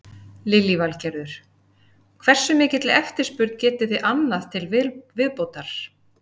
Lillý Valgerður: Hversu mikilli eftirspurn getið þið annað til viðbótar?